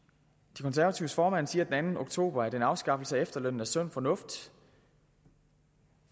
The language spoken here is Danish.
de konservatives formand siger den anden oktober at en afskaffelse af efterlønnen er sund fornuft